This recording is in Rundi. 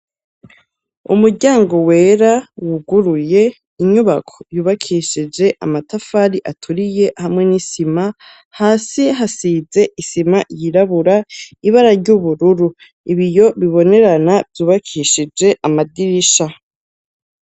Umuryango wera wuguruye. Inyubako yubakishije amatafari aturiye hamwe n'isima, hasi hasize isima yirabura, ibara ry'ubururu ibiyo bibonerana vyubakishije amadirisha.